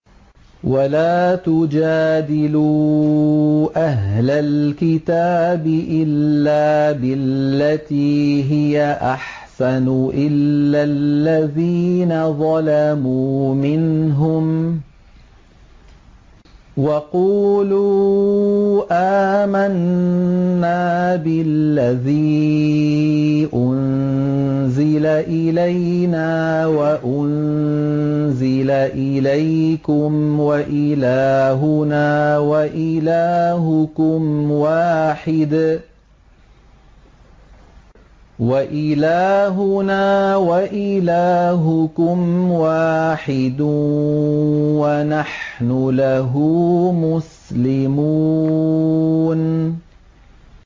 ۞ وَلَا تُجَادِلُوا أَهْلَ الْكِتَابِ إِلَّا بِالَّتِي هِيَ أَحْسَنُ إِلَّا الَّذِينَ ظَلَمُوا مِنْهُمْ ۖ وَقُولُوا آمَنَّا بِالَّذِي أُنزِلَ إِلَيْنَا وَأُنزِلَ إِلَيْكُمْ وَإِلَٰهُنَا وَإِلَٰهُكُمْ وَاحِدٌ وَنَحْنُ لَهُ مُسْلِمُونَ